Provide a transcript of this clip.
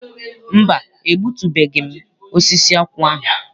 Mba, egbutubeghị m osisi akwụ ahụ.